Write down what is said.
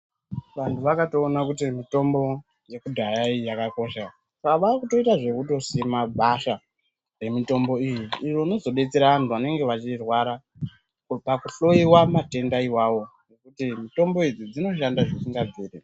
Vanhu vakatoona kuti mitombo yekudhaya iyi yakakosha pavakutoita zvekutosima gwasha remitombo iyi iyoo inozobetsera vandu vanenge vachirwara pakuhloyiwa matenda iwawo nekuti mitombo idzi dzinoshanda zvisingabviri.